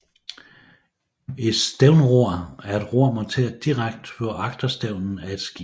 Et stævnror er et ror monteret direkte på agterstævnen af et skib